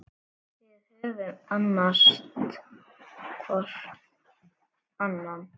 Við höfum annast hvor annan.